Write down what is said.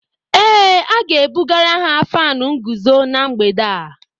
Ee, A ga-ebugara ha fánu nguzo na mgbede a